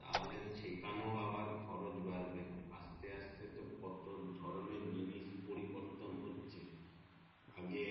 তাহলে সেখান ও আবার খরচ বাড়বে আসতে আসতে কত ধরণের জিনিস পরিবর্তন হচ্ছে আগে